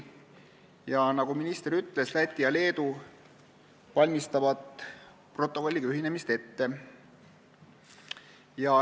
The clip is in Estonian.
Ja nagu minister ütles, Läti ja Leedu valmistavad protokolliga ühinemist ette.